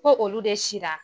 Ko olu de sira.